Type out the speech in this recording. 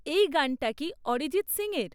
এই গানটি কি অরিজিৎ সিং এর?